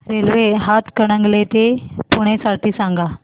railway Hatkanangale ते पुणे साठी सांगा